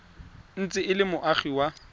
ntse e le moagi wa